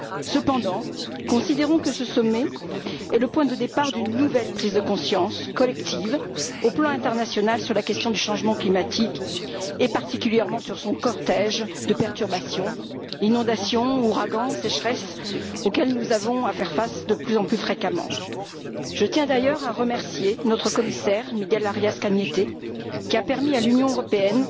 Cependant, considérons que ce sommet est le point de départ d'une nouvelle prise de conscience collective au plan international sur la question du changement climatique, et particulièrement sur son cortège de perturbations, inondations, ouragans, sécheresses, auxquels nous avons à faire face de plus en plus fréquemment. Je tiens d'ailleurs à remercier notre commissaire, Miguel Arias Cañete, qui a permis à l'Union européenne